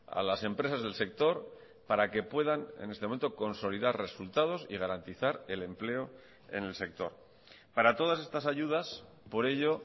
a las empresas del sector para que puedan en este momento consolidar resultados y garantizar el empleo en el sector para todas estas ayudas por ello